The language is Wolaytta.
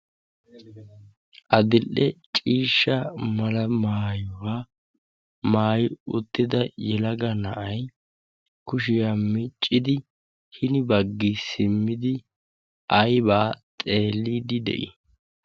adil7de ciishsha mala maayuwaa maayi uttida yalaga na7ai kushiyaa miccidi hini baggi simmidi aibaa xeeliidi de7ii?